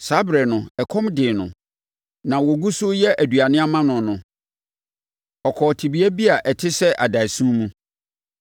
Saa ɛberɛ no, ɛkɔm dee no; na wɔgu so reyɛ aduane ama no no, ɔkɔɔ tebea bi a ɛte sɛ adaeɛso mu.